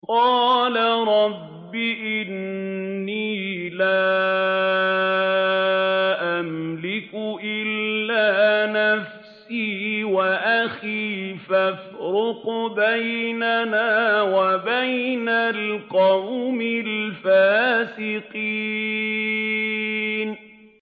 قَالَ رَبِّ إِنِّي لَا أَمْلِكُ إِلَّا نَفْسِي وَأَخِي ۖ فَافْرُقْ بَيْنَنَا وَبَيْنَ الْقَوْمِ الْفَاسِقِينَ